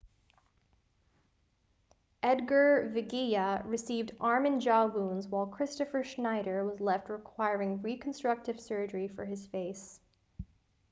edgar veguilla received arm and jaw wounds while kristoffer schneider was left requiring reconstructive surgery for his face